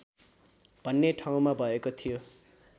भन्ने ठाउँमा भएको थियो